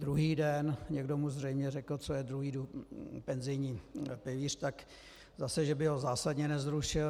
Druhý den - někdo mu zřejmě řekl, co je druhý penzijní pilíř, tak zase že by ho zásadně nezrušil.